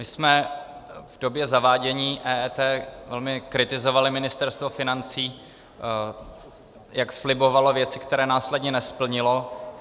My jsme v době zavádění EET velmi kritizovali Ministerstvo financí, jak slibovalo věci, které následně nesplnilo.